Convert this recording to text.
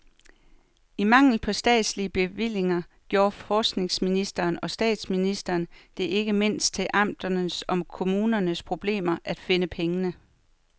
I mangel på statslige bevillinger gjorde forskningsminister og statsminister det ikke mindst til amternes og kommunernes problem at finde pengene.